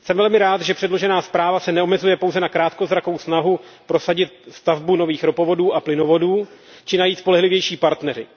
Jsem velmi rád, že předložená zpráva se neomezuje pouze na krátkozrakou snahu prosadit stavbu nových ropovodů a plynovodů či najít spolehlivější partnery.